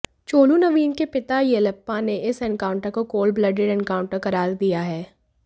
चोलू नवीन के पिता येलप्पा ने इस एनकाउंटर को कोल्ड ब्लडेड एनकाउंटर करार दिया है